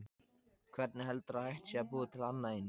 Hvernig heldurðu að hægt sé að búa til annað eins?